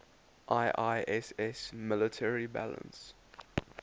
iiss military balance